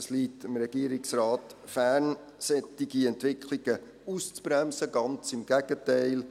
Es liegt dem Regierungsrat fern, solche Entwicklungen auszubremsen – ganz im Gegenteil: